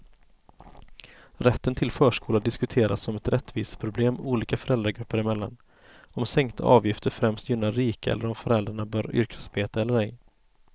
Rätten till förskola diskuteras som ett rättviseproblem olika föräldragrupper emellan, om sänkta avgifter främst gynnar rika eller om föräldrarna bör yrkesarbeta eller ej.